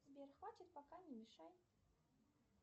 сбер хватит пока не мешай